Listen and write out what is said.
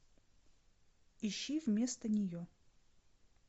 ищи вместо нее